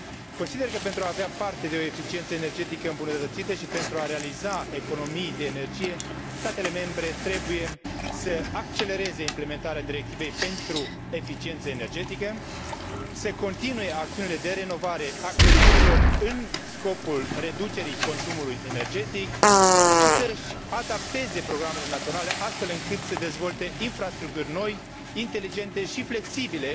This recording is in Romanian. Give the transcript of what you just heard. Consider că, pentru a avea parte de o eficiență energetică îmbunătățită și pentru a realiza economii de energie, statele membre trebuie să accelereze implementarea directivei privind eficiența energetică, să continue acțiunile de renovare a clădirilor, în scopul reducerii consumului energetic și să și adapteze programele naționale, astfel încât să dezvolte infrastructuri noi, inteligente și flexibile,